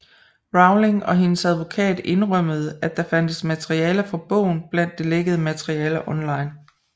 Rowling og hendes advokat indrømmede at der fandtes materiale fra bogen blandt det lækkede materiale online